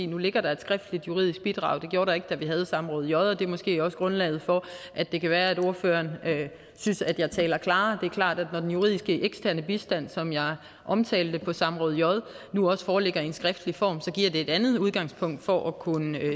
nu ligger der et skriftligt juridisk bidrag det gjorde der ikke da vi havde samråd j og det er måske også grundlaget for at det kan være at ordføreren synes at jeg taler klarere det er klart at når den juridiske eksterne bistand som jeg omtalte på samråd j nu også foreligger i en skriftlig form så giver det et andet udgangspunkt for at kunne